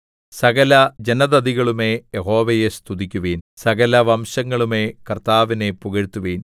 സകല ജനതതികളുമേ യഹോവയെ സ്തുതിക്കുവിൻ സകല വംശങ്ങളുമേ കർത്താവിനെ പുകഴ്ത്തുവിൻ